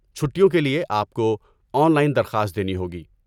چھٹیوں کے لیے، آپ کو آن لائن درخواست دینی ہوگی۔